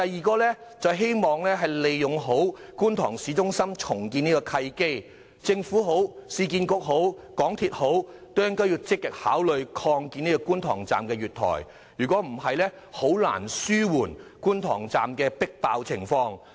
其次，我希望藉着觀塘市中心重建這個契機，政府、市區重建局和香港鐵路有限公司積極考慮擴建觀塘站月台，以紓緩觀塘站的迫爆情況。